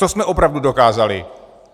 Co jsme opravdu dokázali?